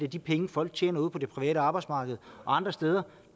de penge folk tjener ude på det private arbejdsmarked og andre steder